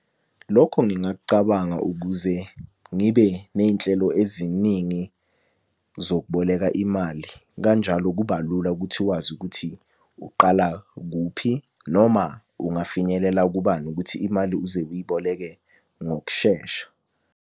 Lokho ngingakucabanga ukuze ngibe ney'nhlelo eziningi zokuboleka imali kanjalo kuba lula ukuthi wazi ukuthi uqala kuphi, noma ungafinyelela kubani ukuthi imali uze uyiboleke ngokushesha.